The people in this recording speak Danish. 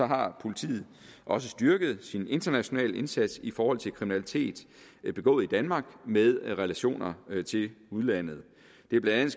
har politiet også styrket sin internationale indsats i forhold til kriminalitet begået i danmark med relationer til udlandet det er blandt